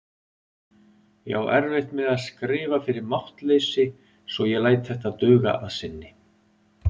Ég á erfitt með að skrifa fyrir máttleysi svo ég læt þetta duga að sinni.